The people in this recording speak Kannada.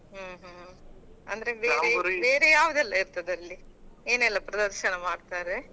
ಹ್ಮ್ ಹ್ಮ್ ಅಂದ್ರೆ ಬೇರೆ ಯಾವದೆಲ್ಲ ಇರ್ತದೆ ಅಲ್ಲಿ ಏನೆಲ್ಲ ಪ್ರದರ್ಶನ ಮಾಡ್ತಾರೆ.